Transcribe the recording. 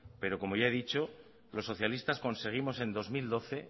y como ya he dicho los socialistas conseguimos en dos mil doce